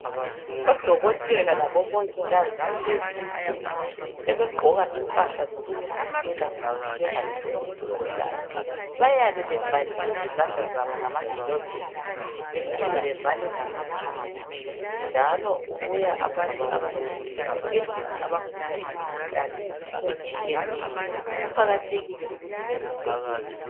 ODokotela labomongikazi kulezi insuku sebegqoka impahla zokuzivikela ukuthi bengatholi imikhuhlane. Bayabe bevalile izandla zabo ngama gilovisi bephinde bevale lamakhala njalo kubuya abantu abanengi esibhedlela abagula imikhuhlane etshiyeneyo. Kuqakathekile ukuthi bezivikele.